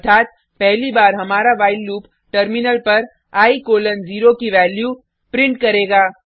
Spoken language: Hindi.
अर्थात पहली बार हमारा व्हाइल लूप टर्मिनल पर i 0 की वैल्यू प्रिंट करेगा